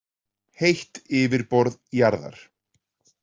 Heitt yfirborð jarðar.